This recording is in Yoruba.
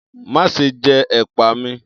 Má ṣe jẹ ẹ̀pà mi!